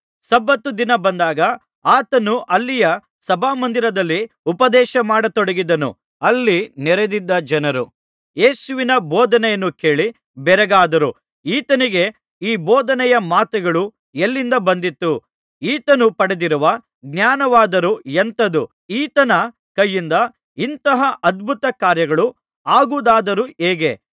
ಸಬ್ಬತ್ ದಿನ ಬಂದಾಗ ಆತನು ಅಲ್ಲಿಯ ಸಭಾಮಂದಿರದಲ್ಲಿ ಉಪದೇಶಮಾಡತೊಡಗಿದನು ಅಲ್ಲಿ ನೆರದಿದ್ದ ಜನರು ಯೇಸುವಿನ ಬೋಧನೆಯನ್ನು ಕೇಳಿ ಬೆರಗಾದರು ಈತನಿಗೆ ಈ ಬೋಧನೆಯ ಮಾತುಗಳು ಎಲ್ಲಿಂದ ಬಂದಿತು ಈತನು ಪಡೆದಿರುವ ಜ್ಞಾನವಾದರೂ ಎಂಥದ್ದು ಈತನ ಕೈಯಿಂದ ಇಂತಹ ಅದ್ಭುತಕಾರ್ಯಗಳು ಆಗುವುದಾದರು ಹೇಗೆ